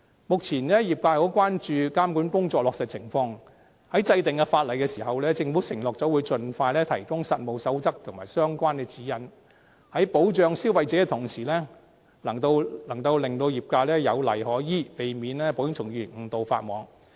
目前，業界很關注監管工作的落實情況，在制定法例時，政府承諾會盡快提供實務守則和相關指引，在保障消費者的同時，能令業界有例可依，避免保險從業員誤導法網。